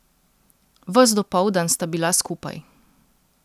Ves dopoldan sta bila skupaj.